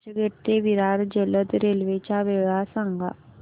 चर्चगेट ते विरार जलद रेल्वे च्या वेळा सांगा